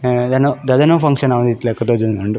ಅ ದಾದನೋ ಫಂಕ್ಷನ್ ಇತ್ತಿಲಕ ತೋಜೊಂದುಂಡು.